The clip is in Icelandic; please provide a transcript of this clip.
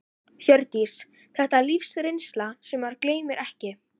Hjördís: Þetta er lífsreynsla sem maður gleymir ekki?